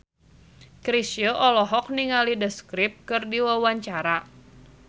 Chrisye olohok ningali The Script keur diwawancara